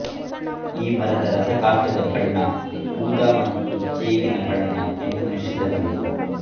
ಈ ಮರದ ರಸಕಾಷ್ಠದ ಬಣ್ಣ ಊದಾ ಮತ್ತು ಚೇಗಿನ ಬಣ್ಣ ಕೆಂಪುಮಿಶ್ರಿತ ಕಂದು